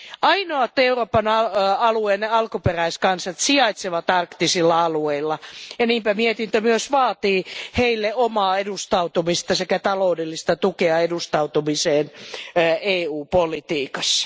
Ainoat Euroopan alueen alkuperäiskansat sijaitsevat arktisilla alueilla ja niinpä mietintö myös vaatii heille omaa edustusta sekä taloudellista tukea edustukselle EU politiikassa.